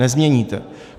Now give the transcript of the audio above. Nezměníte.